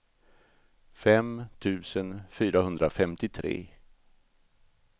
fem tusen fyrahundrafemtiotre